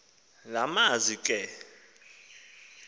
la mazwi ke